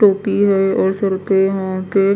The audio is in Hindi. टोपी है और सर पे यहाँ पे--